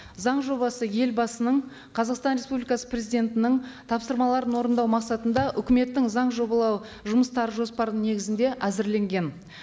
заң жобасы елбасының қазақстан республикасы президентінің тапсырмаларын орындау мақсатында үкіметтің заң жобалу жұмыстары жоспарының негізінде әзірленген